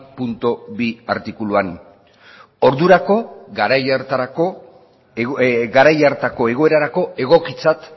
puntu bi artikuluan ordurako garai hartako egoerarako egokitzat